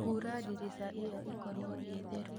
Hura ndirica ĩyo ĩkorwo ĩtheru